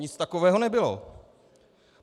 Nic takového nebylo.